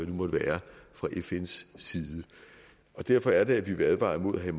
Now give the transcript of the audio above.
måtte være fra fns side derfor er det at vi vil advare imod at have